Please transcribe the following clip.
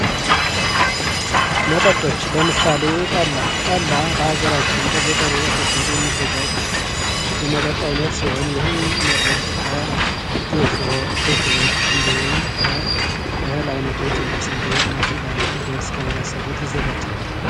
መጠጦች ፦ ለምሳሌ ጠላ ፦ ጠላ በሀገራችን በገጠሩ ክፍል የሚዘጋጅ የመጠጥ አይነት ሲሆን ይህም መጠጥ ከጌሾ ፣ ብቅል እንዲሁም ከእህል አይነቶች እንደ ስንዴ ፣ ማሽላ እና ገብስ ከተመሳሰሉት ይዘጋጃል ።